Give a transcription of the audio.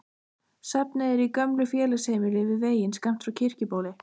Safnið er í gömlu félagsheimili við veginn skammt frá Kirkjubóli.